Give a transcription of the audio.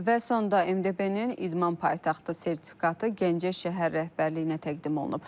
Və sonda MDB-nin idman paytaxtı sertifikatı Gəncə şəhər rəhbərliyinə təqdim olunub.